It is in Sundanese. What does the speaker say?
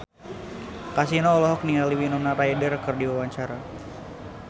Kasino olohok ningali Winona Ryder keur diwawancara